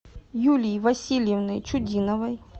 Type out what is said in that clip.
юлии васильевны чудиновой